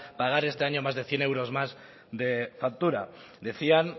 pagar este año más de cien euros más de factura decían